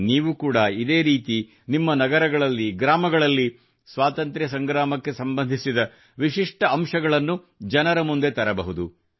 ನೀವು ಕೂಡಾ ಇದೇ ರೀತಿ ನಿಮ್ಮ ನಗರಗಳಲ್ಲಿ ಗ್ರಾಮಗಳಲ್ಲಿ ಸ್ವಾತಂತ್ರ್ಯ ಸಂಗ್ರಾಮಕ್ಕೆ ಸಂಬಂಧಿಸಿದ ವಿಶಿಷ್ಟ ಅಂಶಗಳನ್ನು ಜನರ ಮುಂದೆ ತರಬಹುದು